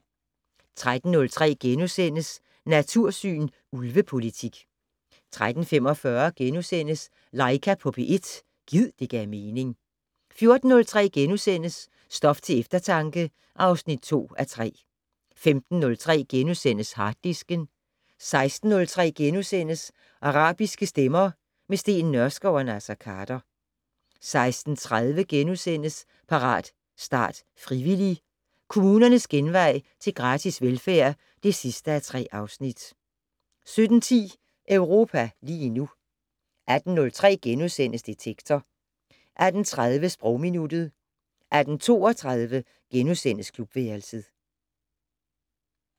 13:03: Natursyn: Ulvepolitik * 13:45: Laika på P1 - gid det gav mening * 14:03: Stof til eftertanke (2:3)* 15:03: Harddisken * 16:03: Arabiske stemmer - med Steen Nørskov og Naser Khader * 16:30: Parat, start, frivillig! - Kommunernes genvej til gratis velfærd (3:3)* 17:10: Europa lige nu 18:03: Detektor * 18:30: Sprogminuttet 18:32: Klubværelset *